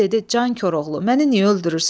Dəli dedi: Can Koroğlu, məni niyə öldürürsən?